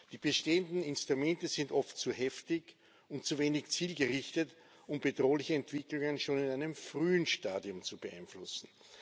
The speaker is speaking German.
Die bestehenden Instrumente sind oft zu heftig und zu wenig zielgerichtet, um bedrohliche Entwicklungen schon in einem frühen Stadium zu beeinflussen.